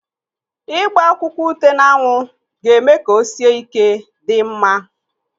Ịgba akwụkwọ ute n'anwụ ga-eme ka o sie ike dị mma.